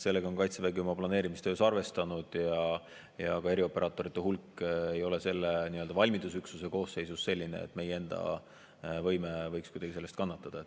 Sellega on Kaitsevägi oma planeerimistöös arvestanud ja ka erioperaatorite hulk selle valmidusüksuse koosseisus ei ole selline, et meie enda võime võiks sellest kuidagi kannatada.